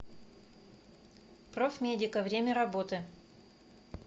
профмедика время работы